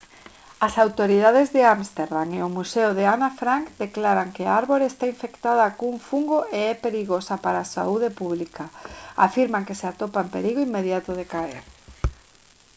as autoridades de ámsterdam e o museo de ana frank declaran que a árbore está infectada cun fungo e é perigosa para a saúde pública afirman que se atopa en perigo inmediato de caer